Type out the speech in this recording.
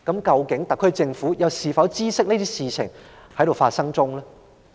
究竟特區政府是否知悉這些事情正在發生？